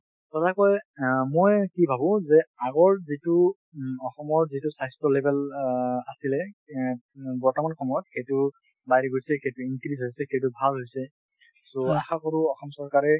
সঁচাকৈ মই কি ভাবোঁ যে আগৰ যিটো অসমৰ যিটো স্বাস্থ্য level অ আছিলে অ বৰ্তমান সময়ত সেইটো বাঢ়ি গৈছে , সেইটো increase হৈছে , সেইটো ভাল হৈছে । so আশা কৰোঁ অসম চৰকাৰে ,